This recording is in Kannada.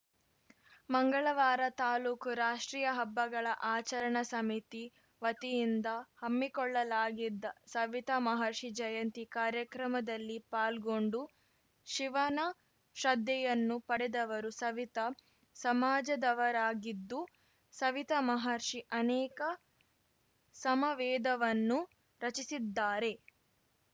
ಮಂಗಳವಾರ ತಾಲೂಕು ರಾಷ್ಟ್ರೀಯ ಹಬ್ಬಗಳ ಆಚರಣಾ ಸಮಿತಿ ವತಿಯಿಂದ ಹಮ್ಮಿಕೊಳ್ಳಲಾಗಿದ್ದ ಸವಿತಾ ಮಹರ್ಷಿ ಜಯಂತಿ ಕಾರ್ಯಕ್ರಮದಲ್ಲಿ ಪಾಲ್ಗೊಂಡು ಶಿವನ ಶ್ರದ್ಧೆಯನ್ನು ಪಡೆದವರು ಸವಿತಾ ಸಮಾಜದವರಾಗಿದ್ದು ಸವಿತಾ ಮಹರ್ಷಿ ಅನೇಕ ಸಮ ವೇದವನ್ನು ರಚಿಸಿದ್ದಾರೆ